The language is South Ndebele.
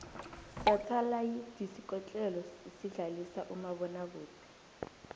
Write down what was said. sathalayidisikotlelo esidlalisa umabona kude